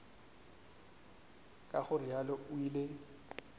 ka go realo o ile